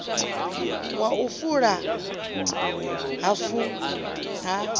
wa u fula hafu ha